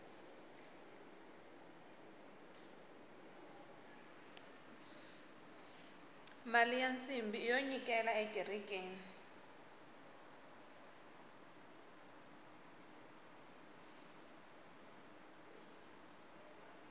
mali ya nsimbhi iyo nyikela ekerekeni